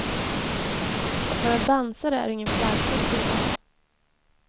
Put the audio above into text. Att vara dansare är ingen flärdfull tillvaro.